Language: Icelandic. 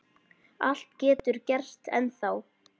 Allt getur gerst ennþá.